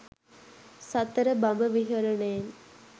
සතර බඹ විහරණයෙන්